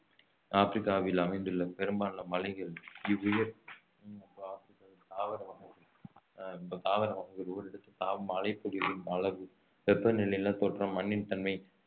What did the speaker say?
ஆப்ரிக்காவில் அமைந்துள்ள பெரும்பாலான மலைகள் ஆஹ் தாவர வகைகள் ஓரிடத்தில் மழை பொழிவின் அளவு வெப்பநிலை நிலத்தோற்றம் மண்ணின் தன்மை